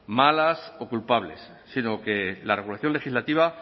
malas o culpables sino que la regulación legislativa